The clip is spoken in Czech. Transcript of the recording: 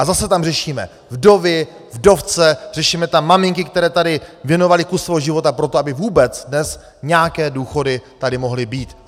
A zase tam řešíme vdovy, vdovce, řešíme tam maminky, které tady věnovaly kus svého života pro to, aby vůbec dnes nějaké důchody tady mohly být.